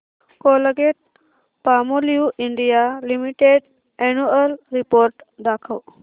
Colgate Palmolive India limited annual report दाखव